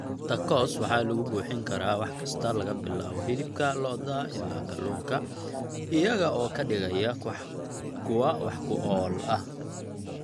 Tacos waxaa lagu buuxin karaa wax kasta laga bilaabo hilibka lo'da ilaa kalluunka, iyaga oo ka dhigaya kuwo wax ku ool ah.